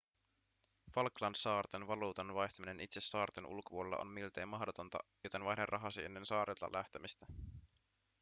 falklandsaarten valuutan vaihtaminen itse saarten ulkopuolella on miltei mahdotonta joten vaihda rahasi ennen saarilta lähtemistä